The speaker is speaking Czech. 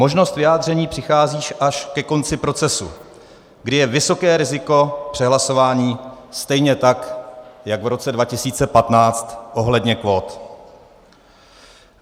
Možnosti vyjádření přichází až ke konci procesu, kdy je vysoké riziko přehlasování stejně tak jako v roce 2015 ohledně kvót.